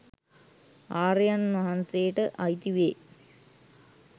ආර්යයන් වහන්සේට අයිති වේ.